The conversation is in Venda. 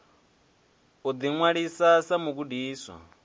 u ḓiṅwalisa sa mugudiswa wa